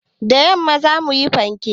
Da yamma za mu yi fanke.